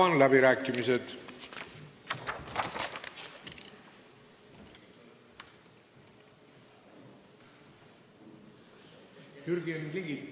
Avan läbirääkimised.